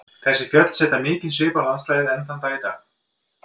Þessi fjöll setja mikinn svip á landslagið enn þann dag í dag.